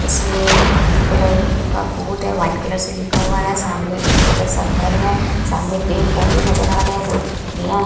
इसमे blue colour का board है व्हाइट कलर से लिखा हुआ है सामने एक छोटा सा घर है सामने पेड़-पौधे नजर आ रहे है दो खिड़कियां --